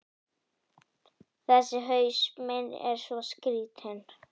Þessi haus minn er svo skrýtinn.